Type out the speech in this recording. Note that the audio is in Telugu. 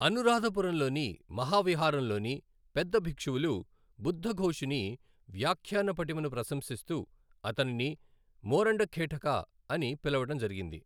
అనురాధపురంలోని మహావిహారంలోని పెద్ద బిక్షువులు బుద్ధఘోషుని వ్యాఖ్యాన పటిమను ప్రశంసిస్తూ అతనిని మోరండఖేటకా అని పిలవడం జరిగింది.